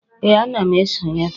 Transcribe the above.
Ee, ana m esonye taa